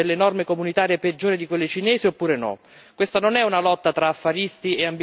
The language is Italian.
L'Unione europea deve decidere se vuole avere delle norme comunitarie peggiori di quelle cinesi, oppure no.